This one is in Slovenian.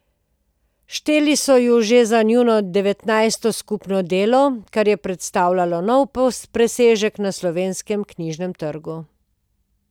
Šteli so jo že za njuno devetnajsto skupno delo, kar je predstavljalo nov presežek na slovenskem knjižnem trgu.